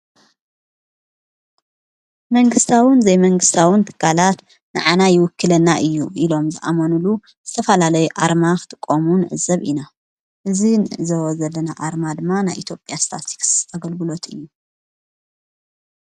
መንግሥታውን ዘይመንግሥታውን ትጋላት ንኣና ይውክለና እዩ ኢሎም ዝኣመኑሉ ዝተፋላለይ ኣርማኽቲ ቆሙን ዘብ ኢና እዝ ንዘወዘለን ኣርማ ድማ ና ኢትጴያ ስታትክስ ተገልብሎት እዩ።